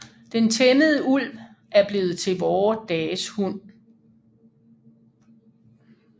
Den tæmmede ulv er blevet til vore dages hund